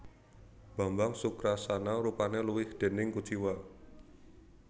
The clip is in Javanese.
Bambang Sukrasana rupane luwih déning kuciwa